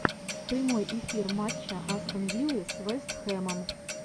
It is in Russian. прямой эфир матча астон виллы с вест хэмом